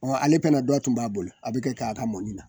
Ɔ ale pana dɔ tun b'a bolo a bɛ kɛ k'a ka mɔni na